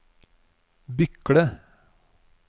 Bykle